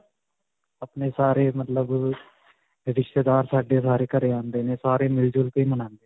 ਆਪਣੇ ਸਾਰੇ ਮਤਲਬ ਅਅ ਰਿਸ਼ਤੇਦਾਰ ਸਾਡੇ ਸਾਰੇ ਘਰੇ ਆਉਂਦੇ ਨੇ ਸਾਰੇ ਮਿਲ-ਜ਼ੁਲ ਕੇ ਮਨਾਉਂਦੇ ਨੇ.